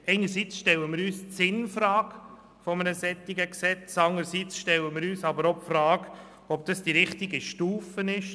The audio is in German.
Einerseits stellen wir uns die Frage nach dem Sinn eines solchen Gesetzes, und andererseits fragen wir uns, ob die kantonale Ebene die richtige Stufe ist.